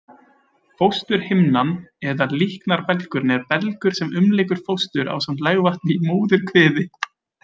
Fósturhimnan eða líknarbelgurinn er belgur sem umlykur fóstur ásamt legvatni í móðurkviði.